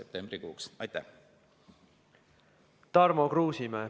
Tarmo Kruusimäe, palun!